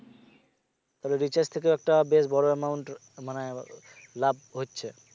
তবে recharge থেকেও একটা বেশ বড় amount মানে লাভ হচ্ছে